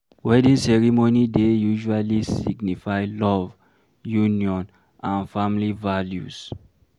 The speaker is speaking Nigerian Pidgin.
Wedding ceremony dey usually signify love, union and family values